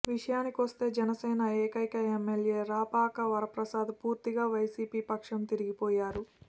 విషయానికొస్తే జనసేన ఏకైక ఎమ్మెల్యే రాపాక వరప్రసాద్ పూర్తిగా వైసిపి పక్షం తిరిగిపోయారు